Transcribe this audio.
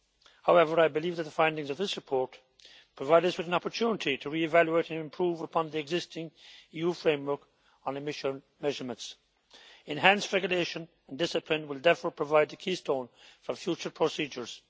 However, I believe that the findings of this report provide us with an opportunity to re evaluate and improve upon the existing EU framework on emission measurements. Enhanced regulation and discipline will therefore provide the keystone for future procedures.